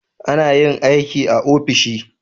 Anayin aiki a ofishi